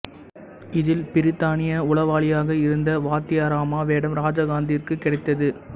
இதில் பிரித்தானிய உளவாளியாக இருந்த வாத்தியாரம்மா வேடம் ராஜகாந்தத்திற்கு கிடைத்தது